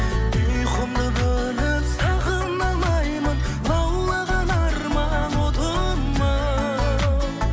ұйқымды бөліп сағына алмаймын лаулаған арман отым ау